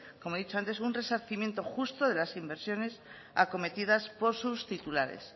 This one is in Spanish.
como he dicho antes un resarcimiento justo de las inversiones acometidas por sus titulares